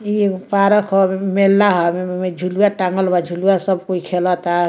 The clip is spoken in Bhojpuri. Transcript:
इ एगो पारक हई ए में मेला हवे ए में झुलवा टांगल बा झूलवा सब कोई खेलता।